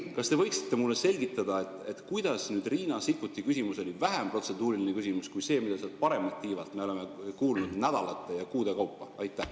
Kas te võite mulle selgitada, kuidas Riina Sikkuti küsimus oli vähem protseduuriline küsimus kui see, mida sealt paremalt tiivalt me oleme nädalate ja kuude kaupa kuulnud?